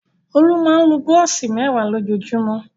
Olú máa ń lo búrọ́ṣì mẹ́wàá lójúmọ́?